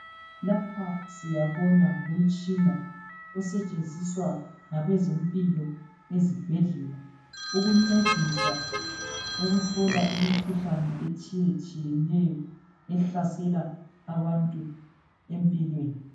Lapha siyabona ngumtshina osetshenziswa ngabezempilo ezibhedlela. Ukuncedisa ukuhlola imkhuhlane etshiyetshiyeneyo. Ehlasela abantu empilweni.